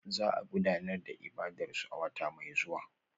Za a gudanar da ibadarsu a wata mai zuwa